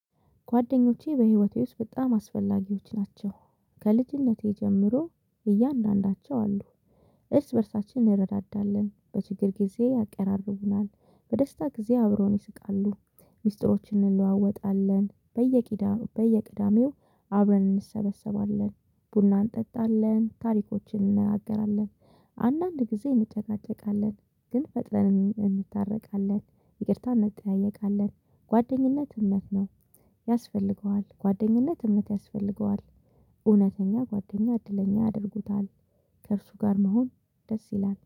ጓደኞቼ በህይወቴ ውስጥ በጣም አስፈላጊዎች ናቸው። ከልጅነቴ ጀምሮ እያንዳንዳቸው አሉ። እርስ በእርሳችን እንረዳዳለን። በችግር ጊዜ ያቀራርቡናል። በደስታ ጊዜ አብረውን ይስቃሉ። ሚስጥሮችን እንለዋወጣለን። በየቂዳ በየቅዳሜው አብረን እንሰበሰባለን። ቡና እንጠጣለን። ታሪኮችን እንነጋገራለን። አንዳንድ ጊዜ እንጨቃጨቃለን፤ ግን ፈጥነን እንታረቃለን። ይቅርታ እንጠያየቃለን። ጓደኝነት እምነት ነው ያስፈልገዋል ጓደኝነት እምነት ያስፈልገዋል። እውነተኛ ጓደኛ እድለኛ ያደርጉታል። ከእርሱ ጋር መሆን ደስ ይላል።